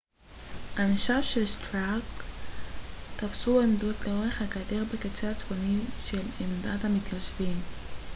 אנשיו של סטארק תפסו עמדות לאורך הגדר בקצה הצפוני של עמדת המתיישבים